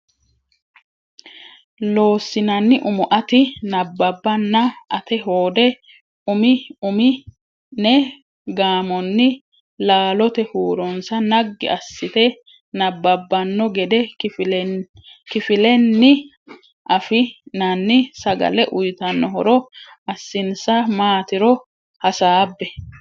Loossinanni Umo ati nabbabbanna ate hoode Umi umi ne gaamonni laalote huuronsa naggi assite nabbabbanno gede kifilenni afi nanni sagale uytanno horo assinsa maatiro hasaabbe.